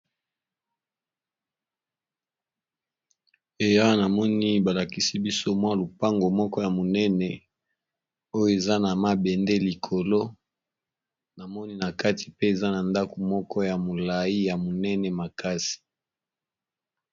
Eya namoni balakisi biso mwa lupango moko ya monene oyo eza na mabende likolo namoni na kati pe eza na ndako moko ya molayi ya monene makasi.